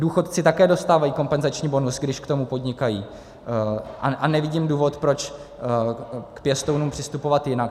Důchodci také dostávají kompenzační bonus, když k tomu podnikají, a nevidím důvod, proč k pěstounům přistupovat jinak.